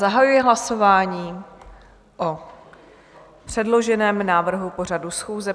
Zahajuji hlasování o předloženém návrhu pořadu schůze.